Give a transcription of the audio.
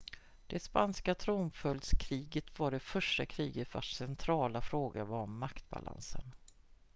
det spanska tronföljdskriget var det första kriget vars centrala fråga var maktbalansen